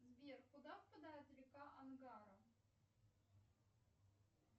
сбер куда впадает река ангара